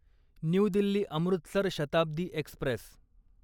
new Delhi Amritsar Shatabdi Express